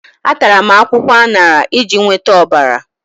Atara m akwụkwọ aṅara iji nweta ọbara.